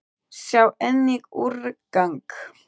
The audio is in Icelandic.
Sjá einnig: úrgang